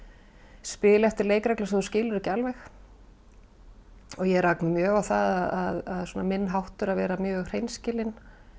spila eftir leikreglum sem þú skilur ekki alveg ég rak mig mjög á það að minn háttur að vera mjög hreinskilin